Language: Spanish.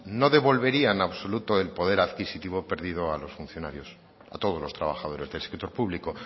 no devolvería en absoluto el poder adquisitivo perdido a los funcionarios a todos los trabajadores del sector público